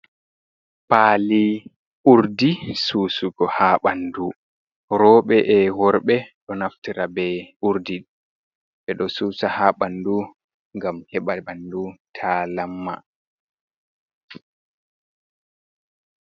Pali urdi susugo ha ɓandu. Roɓe e woree ɗo naftira be urdi ɓeɗo susa ha bandu ngam heɓa bandu ta lamma.